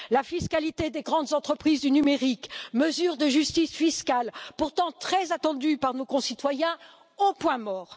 La fiscalité des grandes entreprises du numérique, mesure de justice fiscale pourtant très attendue par nos concitoyens au point mort!